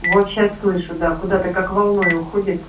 вот сейчас слышу да куда-то как волной уходит